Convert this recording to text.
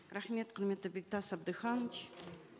рахмет құрметті бектас абдыханович